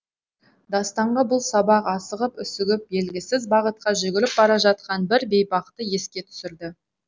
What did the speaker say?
дастанға бұл сабақ асығып үсігіп белгісіз бағытқа жүгіріп бара жатқан бір бейбақты еске түсірді